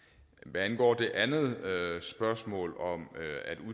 hvad angår det andet spørgsmål om at